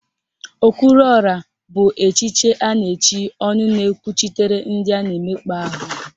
Okwuruọra bụ echiche a na-echi ọnụ na-ekwuchitere ndị a na-emekpa ahụ